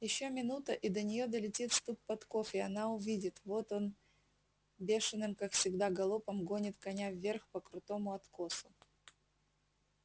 ещё минута и до неё долетит стук подков и она увидит вот он бешеным как всегда галопом гонит коня вверх по крутому откосу